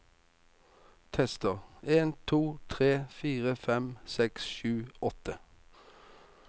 Tester en to tre fire fem seks sju åtte